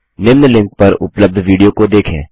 निम्न लिंक पर उपलब्ध विडियो को देखें